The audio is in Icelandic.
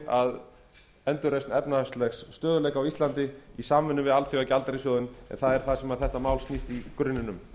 að endurreisn efnahagslegs stöðugleika á íslandi í samvinnu við alþjóðagjaldeyrissjóðinn en um það snýst þetta mál í grunninn